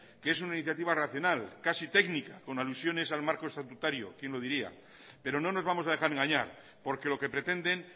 que es una iniciativa racional casi técnica con alusiones al marco estatutario quién lo diría pero no nos vamos a dejar engañar porque lo que pretenden